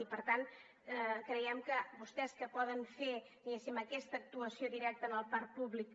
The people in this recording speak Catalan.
i per tant creiem que vostès que poden fer diguéssim aquesta actuació directa en el parc públic